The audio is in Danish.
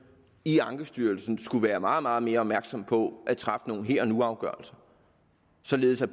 i ankestyrelsen skulle være meget meget mere opmærksom på at træffe nogle her og nu afgørelser således at